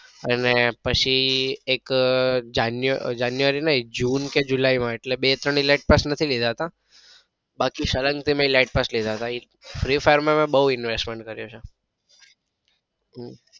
અને પછી એક જાન્યુઆરી જાન્યુઆરી નઈ જૂન કે જુલાઈ માં એટલે બે કે ત્રણ elite પાસ નથી લીધા તા બાકી સળંગ થી મેં elite પાસ લીધા હતા. free fire માં બઉ investment કરેલું છે.